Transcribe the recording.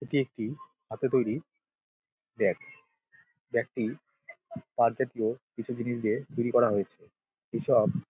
এটি একটি হাথে তৈরী ব্যাগ | ব্যাগ -টি পাট জাতীয় কিছু জিনিস দিয়ে তৈরী করা হয়েছে | এইসব --